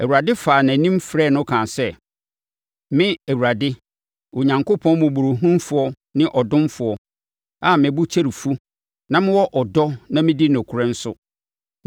Awurade faa nʼanim frɛɛ no kaa sɛ, “Me, Awurade, Onyankopɔn mmɔborɔhunufoɔ ne ɔdomfoɔ a me bo kyɛre fu na mewɔ ɔdɔ na medi nokorɛ nso;